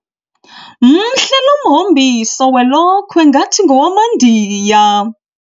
Mhle lo mhombiso welokhwe ngathi ngowamaNdiya.